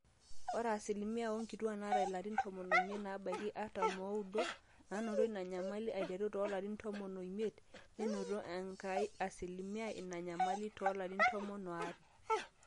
ore asilimia oonkituaak naata ilarin tomon oimiet nebaiki artam ooudo naanoto ina nyamali aiteru toolarin tomon oimiet nenoto enkai asilimia ina nyamali toolarin tomon aare